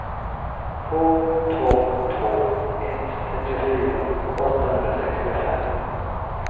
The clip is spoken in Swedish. två två två ett trettiofyra åttahundrasextiofem